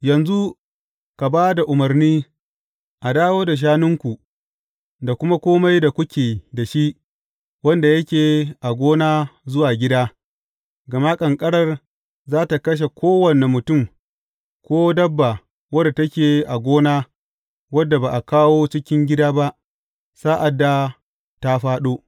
Yanzu, ka ba da umarni a dawo da shanunku da kuma kome da kuke da shi wanda yake a gona zuwa gida, gama ƙanƙarar za tă kashe kowane mutum ko dabba wadda take a gona wadda ba a kawo cikin gida ba, sa’ad da ta fāɗo.’